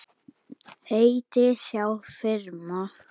Heiti, sjá firma